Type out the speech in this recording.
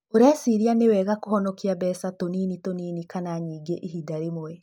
Ũreciria nĩ wega kũhonokia mbeca tũnini tũnini kana nyingĩ ihinda rĩmwe.